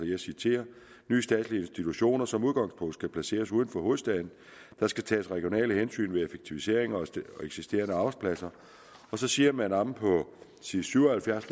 jeg citerer nye statslige institutioner skal som udgangspunkt placeres uden for hovedstaden der skal tages regionale hensyn ved effektiviseringer af eksisterende arbejdspladser så siger man omme på side syv og halvfjerds